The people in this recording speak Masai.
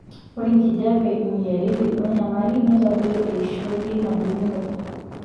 ore enkijiape moyiaritin wenyamali neitadoyio eishioi einabulunoto.